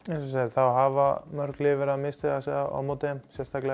það hafa mörg lið verið að misstíga sig á móti þeim sérstaklega